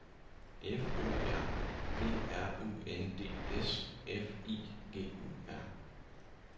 F O R G R U N D S F I G U R